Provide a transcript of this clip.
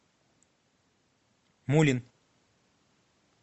мулин